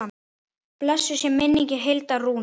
Blessuð sé minning Hildar Rúnu.